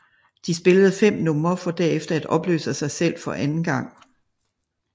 De spillede fem numre for derefter at opløse sig selv for anden gang